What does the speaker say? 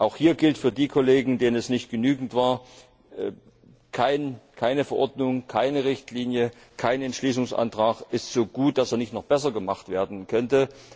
Auch hier gilt für die Kollegen, denen es nicht genügte Keine Verordnung, keine Richtlinie, kein Entschließungsantrag ist so gut, dass er nicht noch besser gemacht werden könnte.